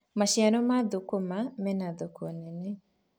maciaro ma thukuma mena thoko nene